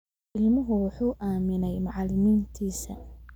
Ilmuhu wuxuu aaminay macalimiintiisa